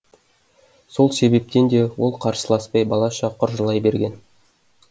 сол себептен де ол қарсыласпай балаша құр жылай берген